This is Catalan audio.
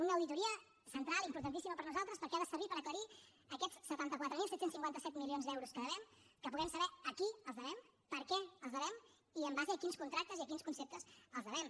una auditoria central i importantíssima per nosaltres perquè ha de servir per aclarir aquests setanta quatre mil set cents i cinquanta set milions d’euros que devem que puguem saber a qui els devem per què els devem i en base a quins contractes i a quins conceptes els devem